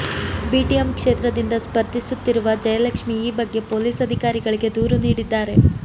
BTM ಕ್ಷೇತ್ರದಿಂದ ಸ್ಪರ್ಧಿಸುತ್ತಿರುವ ಜಯಲಕ್ಷ್ಮಿ ಈ ಬಗ್ಗೆ ಪೊಲೀಸ್ ಅಧಿಕಾರಿಗಳಿಗೆ ದೂರು ನೀಡಿದ್ದಾರೆ